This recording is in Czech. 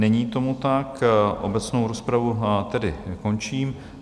Není tomu tak, obecnou rozpravu tedy končím.